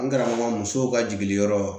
N karamɔgɔ musow ka jiginiyɔrɔ